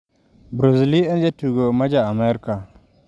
Bruce Lee en jatugo ma ja Amerka.